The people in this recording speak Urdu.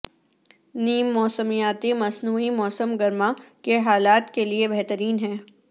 نیم موسمیاتی مصنوعی موسم گرما کے حالات کے لئے بہترین ہے